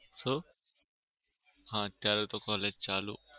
શુ? હા અત્યારે તો college ચાલુ.